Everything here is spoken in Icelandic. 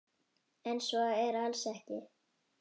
En svo er alls ekki.